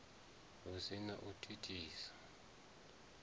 hu si na u thithisa